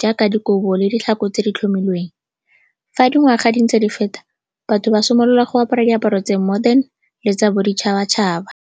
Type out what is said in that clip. jaaka dikobo le ditlhako tse di tlhomilweng. Fa dingwaga di ntse di feta, batho ba simolola go apara diaparo tse di modern le tsa boditšhabatšhaba.